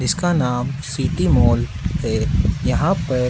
इसका नाम city mall है यहां पर--